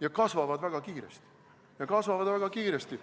ja kasvavad väga kiiresti.